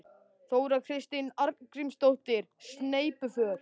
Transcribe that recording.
Þóra Kristín Arngrímsdóttir: Sneypuför?